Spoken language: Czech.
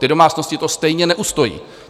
Ty domácnosti to stejně neustojí.